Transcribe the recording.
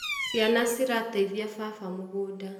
Ciana cirateithia baba mũgũnda